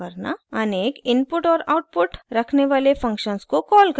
* अनेक इनपुट और आउटपुट रखने वाले फंक्शन्स को कॉल करना